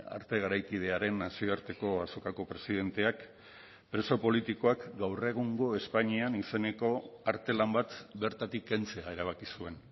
arte garaikidearen nazioarteko azokako presidenteak preso politikoak gaur egungo espainian izeneko artelan bat bertatik kentzea erabaki zuen